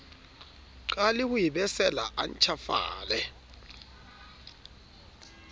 qale ho ebesela a ntjhafale